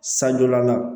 San jɔlan na